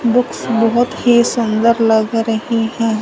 Books बहोत ही सुंदर लग रही हैं।